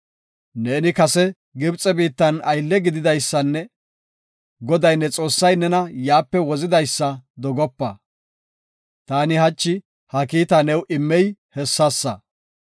Neeni kase Gibxe biittan aylle gididaysanne Goday ne Xoossay nena yaape wozidaysa dogopa. Ta hachi ha kiitaa new immey hessasa.